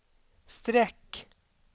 streck